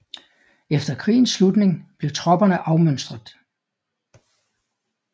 Efter krigens slutning blev tropperne afmønstret